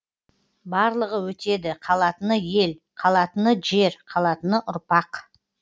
барлығы өтеді қалатыны ел қалатыны жер қалатыны ұрпақ